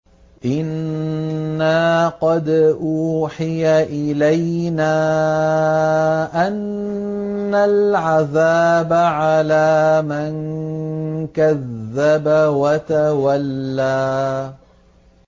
إِنَّا قَدْ أُوحِيَ إِلَيْنَا أَنَّ الْعَذَابَ عَلَىٰ مَن كَذَّبَ وَتَوَلَّىٰ